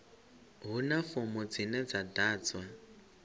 huna fomo dzine dza ḓadzwa